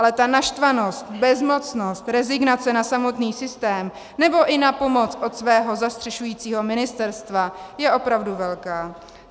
Ale ta naštvanost, bezmocnost, rezignace na samotný systém nebo i na pomoc od svého zastřešujícího ministerstva je opravdu velká.